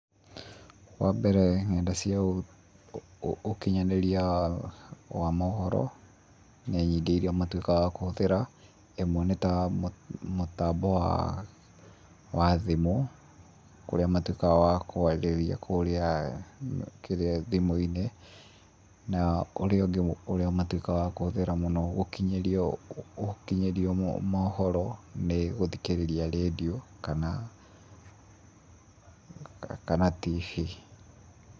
Wa mbere, nenda cia ũkinyanĩria wa mohoro, nĩ nyingĩ iria matuĩkaga a kũhũthĩra, ĩmwe nĩ ta mũtambo wa, wa thimũ, kũrĩa matuĩkaga wa kwarĩria kũria, kĩrĩa thimũ-inĩ na ũrĩa ũngĩ matuĩkaga wa kũhũthĩra mũno gũkinyĩrio, gũkinyĩrio mohoro nĩ gũthikĩrĩria redio kana, kana TV.